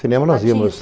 Cinema, nós íamos.